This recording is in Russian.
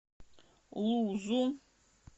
лузу